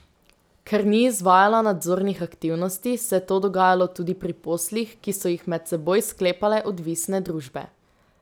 Ker ni izvajala nadzornih aktivnosti, se je to dogajalo tudi pri poslih, ki so jih med seboj sklepale odvisne družbe.